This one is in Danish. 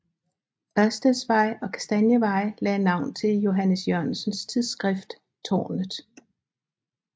Ørsteds Vej og Kastanievej lagde navn til Johannes Jørgensens tidsskrift Tårnet